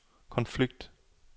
konflikt